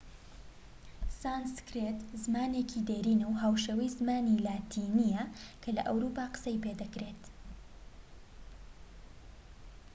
سانسکرێت زمانێکی دێرینە و هاوشێوەی زمانی لاتینیە کە لە ئەوروپا قسەی پێدەکرێت